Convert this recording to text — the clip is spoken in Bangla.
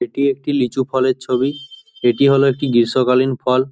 এটি একটি লিচু ফলের ছবি এটি হলো একটি গীষ্ম কালীন ফল।